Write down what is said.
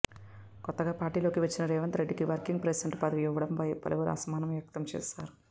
కొత్తగా పార్టీలోకి వచ్చిన రేవంత్రెడ్డికి వర్కింగ్ ప్రెసిడెంట్ పదవి ఇవ్వడంపై పలువురు అసహనం వ్యక్తం చేస్తున్నారు